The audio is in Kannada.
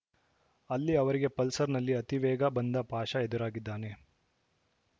ಅಲ್ಲಿ ಅವರಿಗೆ ಪಲ್ಸರ್‌ನಲ್ಲಿ ಅತಿವೇಗ ಬಂದ ಪಾಷ ಎದುರಾಗಿದ್ದಾನೆ